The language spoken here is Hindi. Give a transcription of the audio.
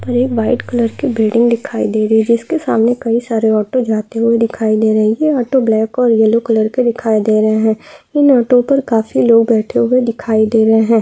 पर एक वाइट कलर की बिल्डिंग दिखाई दे रही है जिसके सामने कई सारे ऑटो जाते हुए दिखाई दे रही ये ऑटो ब्लैक और येलो कलर के दिखाई दे रहे है इन ऑटो पर काफी लोग बैठे हुए दिखाई दे रहे है।